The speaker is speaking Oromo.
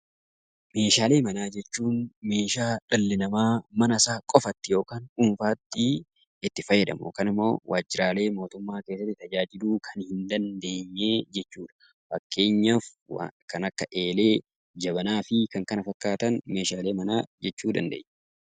Meeshaalee manaa jechuun meeshaa dhalli namaa mana isaa qofatti yookaan dhuunfaatti itti fayyadamu yookaan immoo waajjiraalee mootummaa keessatti itti fayyadamuu hin dandeenye jechuu dha. Fakkeenyaaf kan akka Eelee, Jabanaa fi kan kana fakkaatan meeshaalee manaa jechuu dandeenya.